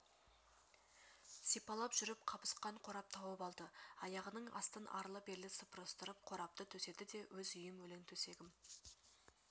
сипалап жүріп қабысқан қорап тауып алды аяғының астын арлы-берлі сыпырыстырып қорапты төседі де өз үйім өлең төсегім